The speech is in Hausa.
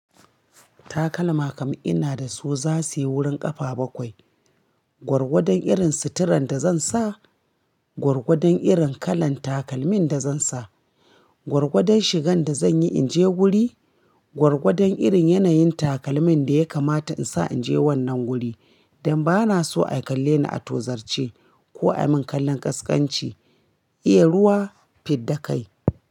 Takalma kam ina da su za su yi wurin ƙafa bakwai. Gwargwadon irin suturan da zan sa, gwargwadon irin kalan takalmin da zan sa, gwargwadon shigan da zan yi in je guri, gwargwadon irin yanayin takalmin da ya kamata in sa in je wannan guri don ba na so a kalle ni a tozarce ko ai min kallon ƙasƙanci. Iya ruwa fidda kai.